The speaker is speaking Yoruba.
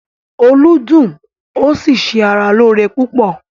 “Olú” dùn ó sì se ara lóore púpọ̀.